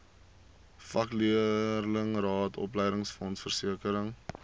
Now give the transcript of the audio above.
vakleerlingraad opleidingsfonds versekering